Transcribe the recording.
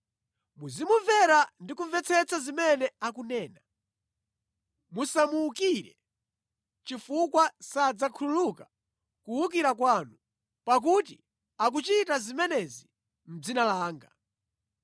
Muzimumvera ndi kumvetsetsa zimene akunena. Musamuwukire chifukwa sadzakhululuka kuwukira kwanu, pakuti akuchita zimenezi mʼdzina langa.